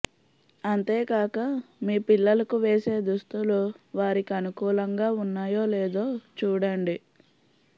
అంతేకాక మీ పిల్లలకు వేసే దుస్తులు వారికి అనుకూలంగా ఉన్నాయో లేదో చూడండి